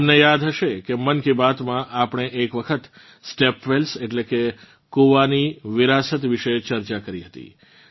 તમને યાદ હશે કે મન કી બાતમાં આપણે એક વખત સ્ટેપ વેલ્સ એટલે કે કૂવાની વિરાસત વિશે ચર્ચા કરી હતી